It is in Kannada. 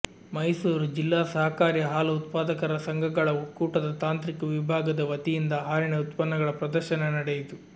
ಮೈಸೂರು ಜಿಲ್ಲಾ ಸಹಕಾರಿ ಹಾಲು ಉತ್ಪಾದಕರ ಸಂಘಗಳ ಒಕ್ಕೂಟದ ತಾಂತ್ರಿಕ ವಿಭಾಗದ ವತಿಯಿಂದ ಹಾಲಿನ ಉತ್ಪನ್ನಗಳ ಪ್ರದರ್ಶನ ನಡೆಯಿತು